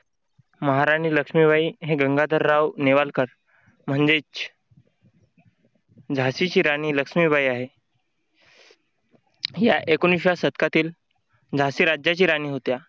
महाराणी लक्ष्मीबाई हे गंगाधरराव नेवालकर म्हणजेच झाशीची राणी लक्ष्मीबाई आहे. या एकोणीसव्या शतकातील झाशी राज्याची राणी होत्या.